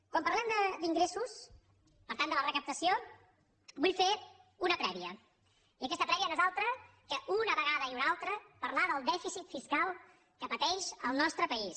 quan parlem d’ingressos per tant de la recaptació vull fer una prèvia i aquesta prèvia no és altra que una vegada i una altra parlar del dèficit fiscal que pateix el nostre país